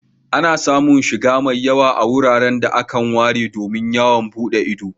Ana samun shiga mai yawa a wuraren da akan ware domin yawon buɗe ido.